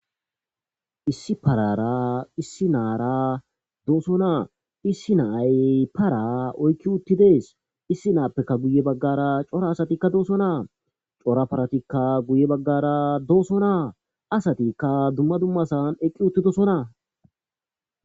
issi parara issi naara dooso naa issi naay para oykki uttidees issi naappekka guye baggara cora asatikka dooso naa cora paratikka guye baggara dooso naa asatikka dumma dummasan eqqi uttidosonaa